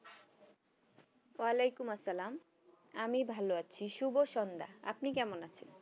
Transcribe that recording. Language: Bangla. আলাইকুম আসসালাম আমি ভালো আছি শুভ সন্ধ্যা আপনি কেমন আছেন?